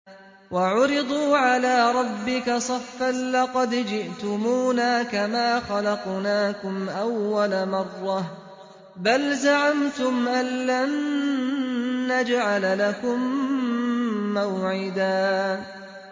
وَعُرِضُوا عَلَىٰ رَبِّكَ صَفًّا لَّقَدْ جِئْتُمُونَا كَمَا خَلَقْنَاكُمْ أَوَّلَ مَرَّةٍ ۚ بَلْ زَعَمْتُمْ أَلَّن نَّجْعَلَ لَكُم مَّوْعِدًا